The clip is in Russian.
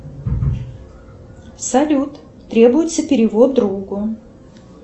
салют требуется перевод другу